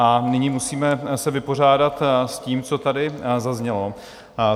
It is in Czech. A nyní se musíme vypořádat s tím, co tady zaznělo.